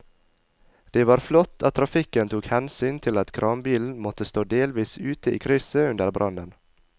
Det var flott at trafikken tok hensyn til at kranbilen måtte stå delvis ute i krysset under brannen.